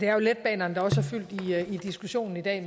er letbanerne der også har fyldt i diskussionen i dag